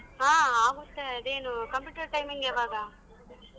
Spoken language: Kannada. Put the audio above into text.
ಹಾ ಆಗುತ್ತೆ ಅದೇನು computer timing ಯವಾಗ?